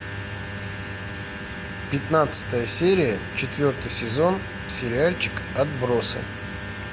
пятнадцатая серия четвертый сезон сериальчик отбросы